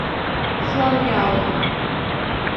шуанляо